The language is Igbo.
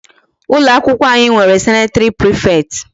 Ụlọ akwụkwọ anyị nwere sanitary prefect.